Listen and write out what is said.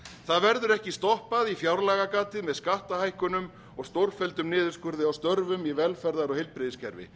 það verður ekki stoppað í fjárlagagatið með skattahækkunum og stórfelldum niðurskurði á störfum í velferðar og heilbrigðiskerfi